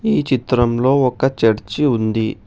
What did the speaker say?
ఈ చిత్రంలో ఒక చర్చి ఉంది.